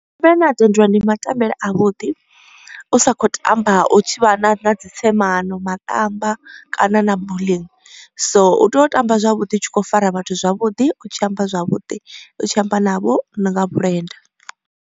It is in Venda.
Mbele ane a tendeliwa ndi ma tambele a vhuḓi, u sa kho tamba u tshi vha na na dzi tsemano, maṱamba kana na bulling. So u tea u tamba zwavhuḓi u tshi kho fara vhathu zwavhuḓi u tshi amba zwavhuḓi u tshi amba navho nga vhulenda.